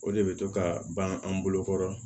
O de bɛ to ka ban an bolo kɔrɔ